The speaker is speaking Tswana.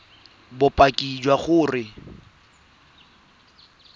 o fekese bopaki jwa gore